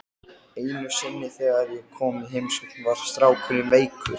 Einu sinni þegar ég kom í heimsókn var strákurinn veikur.